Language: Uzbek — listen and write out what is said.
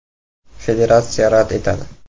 Federatsiya rad etadi.